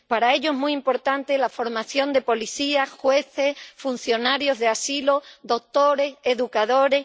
Para ello es muy importante la formación de policías, jueces, funcionarios de asilo, doctores, educadores...